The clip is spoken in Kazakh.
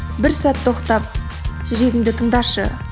бір сәт тоқтап жүрегіңді тыңдашы